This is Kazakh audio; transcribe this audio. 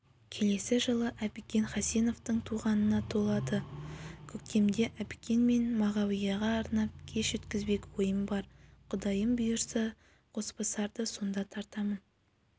келесі жылы әбікен хасеновтің туғанына толады көктемде әбікен мен мағауияға арнап кеш өткізбек ойым бар құдайым бұйырса қосбасарды сонда тартамын